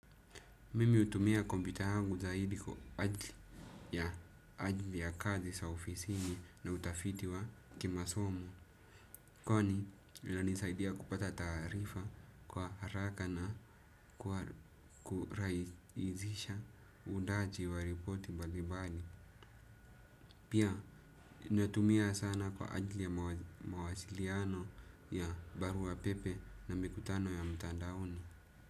Mimi utumia kompita yangu zaidi kwa ajli ya ajli ya kazi sa ofisini na utafiti wa kimasomo. Kwani linanisaidia kupata taarifa kwa haraka na kuraizisha uundaji wa ripoti mbalimbali. Pia, natumia sana kwa ajli ya mawasiliano ya barua pepe na mikutano ya mtandaoni.